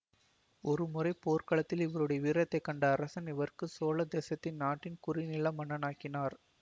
ஒருமுறை போர்க்களத்தில் இவருடைய வீரத்தைக் கண்ட அரசன் இவருக்கு சோழதேசத்தின் நாட்டின் குறுநில மன்னனாக்கினார்